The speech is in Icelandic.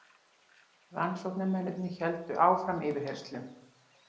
Rannsóknarmennirnir héldu áfram yfirheyrslum.